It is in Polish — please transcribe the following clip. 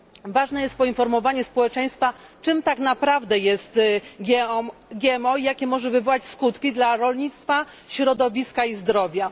Ważne jest poinformowanie społeczeństwa, czym tak naprawdę jest GMO i jakie może wywołać skutki dla rolnictwa, środowiska i zdrowia.